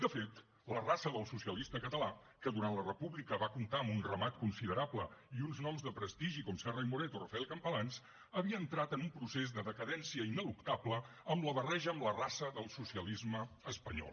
de fet la raça del socialista català que durant la república va comptar amb un ramat considerable i uns noms de prestigi com serra i moret o rafael campalans havia entrat en un procés de decadència ineluctable amb la barreja amb la raça del socialisme espanyol